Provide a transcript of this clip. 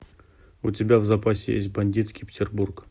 у тебя в запасе есть бандитский петербург